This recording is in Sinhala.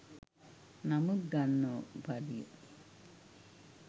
නමුත් ගන්න පඩිය